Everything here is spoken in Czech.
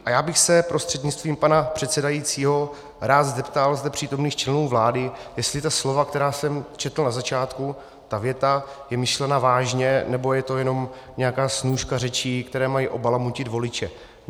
A já bych se prostřednictvím pana předsedajícího rád zeptal zde přítomných členů vlády, jestli ta slova, která jsem četl na začátku, ta věta je myšlena vážně, nebo je to jenom nějaká snůška řečí, které mají obalamutit voliče.